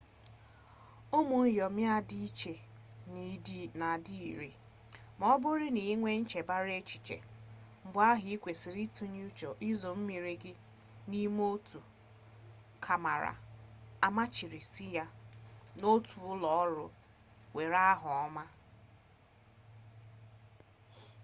ụmụ myọ na-adị iche n'ịdị ire ma ọ bụrụ na ị nwee nchebara echiche mgbe ahụ ị kwesịrị itule uche ịzụ mmiri gị n'ime otu karama amachiri siye na otu ụlọ ọrụ nwere aha ọma